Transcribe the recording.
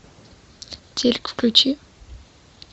телик включи